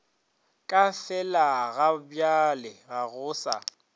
ka felagabjale ga go sa